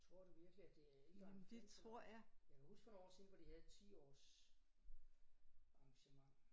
Tror du virkelig at det er ældre end 15 år? Jeg kan huske for nogle år siden hvor de havde 10 års arrangement